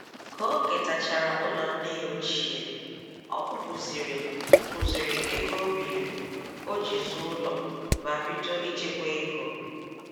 Ka o ketachara ụlọ nne ya ochie, ọ kwụpụziri kwụpụziri ego o biiri o ji zụọ ụlọ ma bido ichekwa ego.